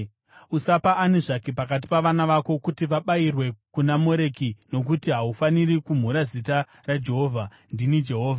“ ‘Usapa ani zvake pakati pavana vako kuti vabayirwe kuna Moreki nokuti haufaniri kumhura zita raJehovha. Ndini Jehovha.